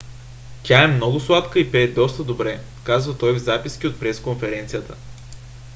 тя е много сладка и пее доста добре казва той в записки от пресконференцията